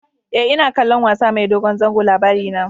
E, ina kallon wasa mai dogon zango Labarina.